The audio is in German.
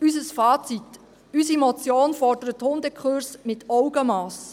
Unser Fazit: Unsere Motion fordert Hundekurse mit Augenmass.